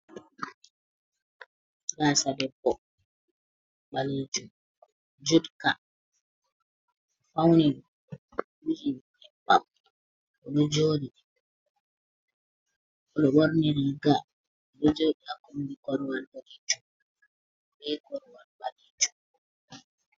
Gasa debbo ɓalejum, judka, ofauni wuji nyebbam, oɗo joɗi, oɗo ɓorni riga, oɗo jodi ha koɓbi koruwal boɗejum, be koruwal ɓalejum.